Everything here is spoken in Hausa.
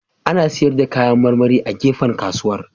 Ana sayar da kayan marmari a gefen kasuwar